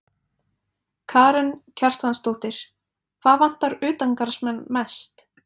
Karen Kjartansdóttir: Hvað vantar utangarðsmenn mest?